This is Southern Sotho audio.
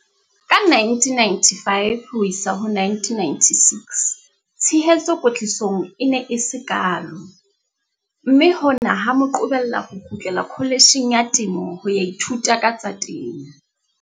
Ka 1995 ho isa 1996, tshehetso kwetlisong e ne e se kaalo, mme hona ha mo qobella ho kgutlela Kholetjheng ya Temo ho ya ithuta ka tsa temo.